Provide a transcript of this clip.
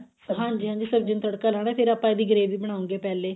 ਹਾਂਜੀ ਹਾਂਜੀ ਸਬਜੀ ਨੂੰ ਤੜਕਾ ਲਾਉਣਾ ਫਿਰ ਆਪਾਂ ਇਹਦੀ gravy ਵੀ ਬਣਾਉਗੇ ਪਹਿਲੇ